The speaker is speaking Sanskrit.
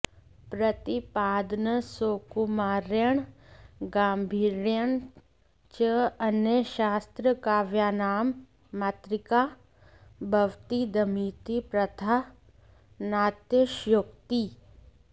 प्रतिपादनसौकुमार्येण गाम्भीर्येण च अन्यशास्त्रकाव्यानां मातृका भवतीदमिति प्रथा नातिशयोक्तिः